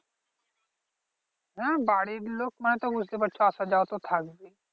হ্যা বাড়ির লোক মানে তো বুঝতে পারছো আসা যাওয়া তো থাকবেই